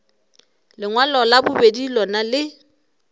lengwalo la bobedi lona le